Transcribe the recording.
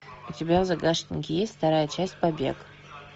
у тебя в загашнике есть вторая часть побег